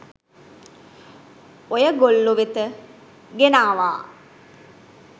ඔයගොල්ලො වෙත ගෙනාවා